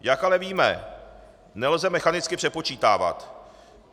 Jak ale víme, nelze mechanicky přepočítávat.